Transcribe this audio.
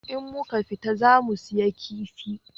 In muka fita za mu saya kifi